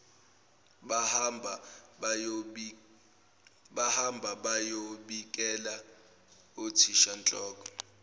bahamba bayobikela uthishanhloko